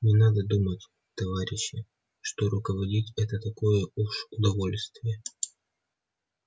не надо думать товарищи что руководить это такое уж удовольствие